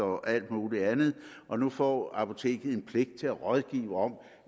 og alt muligt andet og nu får apoteket en pligt til at rådgive om